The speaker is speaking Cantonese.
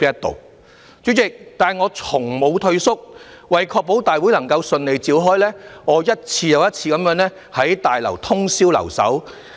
代理主席，但我從無退縮，為確保大會能夠順利召開，我一次又一次在大樓通宵留守。